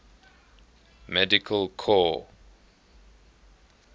medical corps